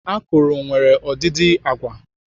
Akụrụ nwere ọdịdị agwa.